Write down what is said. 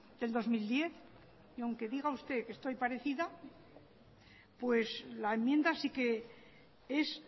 del dos mil diez y aunque diga usted que estoy parecida pues la enmienda sí que es